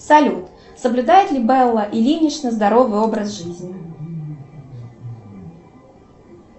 салют соблюдает ли белла ильинична здоровый образ жизни